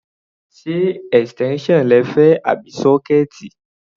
Ṣé extension lẹ fẹ́ àbí sọkẹẹti?